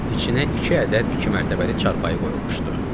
İçinə iki ədəd iki mərtəbəli çarpayı qoyulmuşdu.